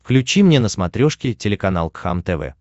включи мне на смотрешке телеканал кхлм тв